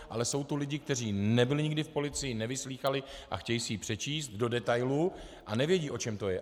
Ale jsou tu lidi, kteří nebyli nikdy v policii, nevyslýchali a chtějí si ji přečíst do detailů a nevědí, o čem to je.